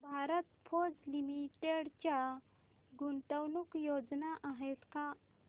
Bharat Forge limited च्या गुंतवणूक योजना आहेत का